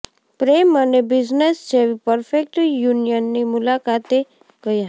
પ્રેમ અને બિઝનેસ જેવી પરફેક્ટ યુનિયનની મુલાકાતે ગયા